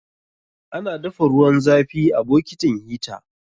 Ana dafa ruwan zafi a bokitin hita.